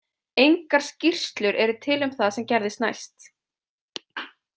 Engar skýrslur eru til um það sem gerðist næst.